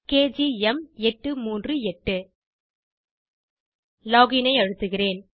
கேஜிஎம்838 login ஐ அழுத்துகிறேன்